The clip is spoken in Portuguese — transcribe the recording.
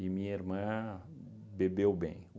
E minha irmã bebeu bem.